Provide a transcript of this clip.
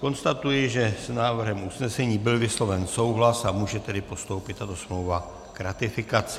Konstatuji, že s návrhem usnesení byl vysloven souhlas, a může tedy postoupit tato smlouva k ratifikaci.